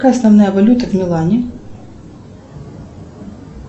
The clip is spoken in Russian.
какая основная валюта в милане